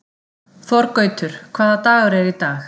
Þorgautur, hvaða dagur er í dag?